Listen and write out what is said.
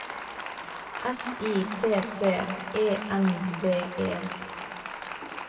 S I T T E N D E